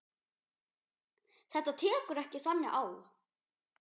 Þetta tekur ekki þannig á.